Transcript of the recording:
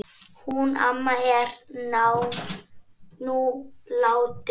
Hún amma er nú látin.